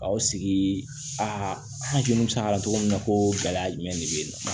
Ka aw sigi an hakili bɛ se ka na cogo min na ko gɛlɛya jumɛn de b'e la